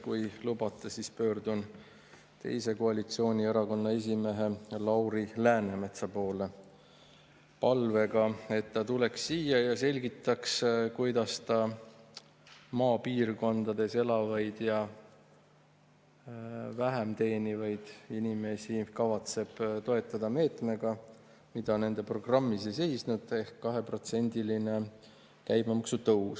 Kui lubate, pöördun teise koalitsioonierakonna esimehe Lauri Läänemetsa poole palvega, et ta tuleks siia ja selgitaks, kuidas ta maapiirkondades elavaid ja vähem teenivaid inimesi kavatseb toetada meetmega, mida nende programmis ei seisnud, ehk 2%-lise käibemaksu tõusuga.